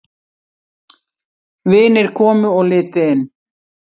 Vinir komu og litu inn.